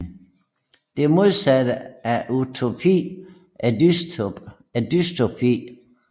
Det modsatte af utopi er dystopi